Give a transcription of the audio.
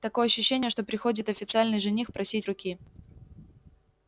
такое ощущение что приходит официальный жених просить руки